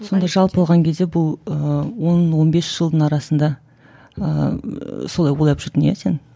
сонда жалпы алған кезде бұл ыыы он он бес жылдың арасында ыыы солай ойлап жүрдің иә сен